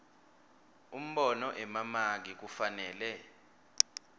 umbono emamaki kufanele